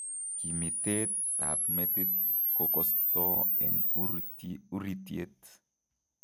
Kimiteek ab metit kokostoo eng' uritiet